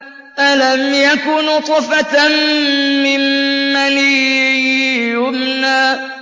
أَلَمْ يَكُ نُطْفَةً مِّن مَّنِيٍّ يُمْنَىٰ